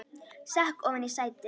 Sekk ofan í sætið.